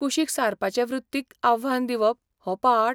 कुशीक सारपाचे वृत्तीक आव्हान दिवप' हो पाठ?